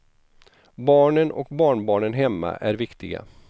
Barnen och barnbarnen hemma är viktiga.